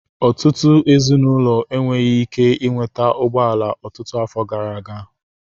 Ọtụtụ ezinụlọ enweghị ike ị nweta ụgbọ ala ọtụtụ afọ gara aga.